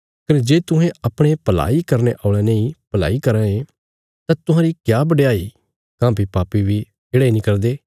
कने जे तुहें अपणे भलाई करने औल़यां नेई भलाई कराँ ये तां तुहांरी क्या बडयाई काँह्भई पापी बी येढ़ा इ नीं करदे